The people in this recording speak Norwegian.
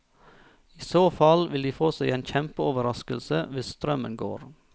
I så fall vil de få seg en kjempeoverraskelse hvis strømmen går.